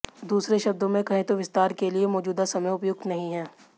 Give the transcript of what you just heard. दूसरे शब्दों में कहें तो विस्तार के लिए मौजूदा समय उपयुक्त नहीं है